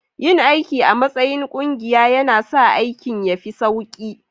Yin aiki a matsayin ƙungiya yana sa aikin ya fi sauƙi